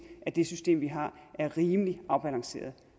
at det system vi har er rimelig afbalanceret